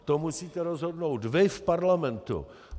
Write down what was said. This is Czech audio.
To musíte rozhodnout vy v Parlamentu.